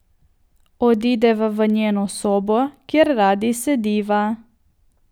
Odideva v njeno sobo, kjer radi sediva.